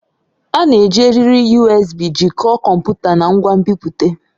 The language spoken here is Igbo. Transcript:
A na-eji eriri USB jikọọ kọmputa na ngwa nbipute.